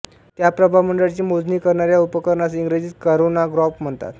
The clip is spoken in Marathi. त्या प्रभामंडळाची मोजणी करणाऱ्या उपकरणास इंग्रजीत करोनाग्राफ म्हणतात